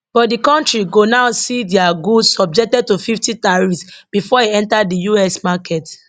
but di kontri go now see dia goods subjected to 50 tariffs bifor e enta di us market